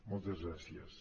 moltes gràcies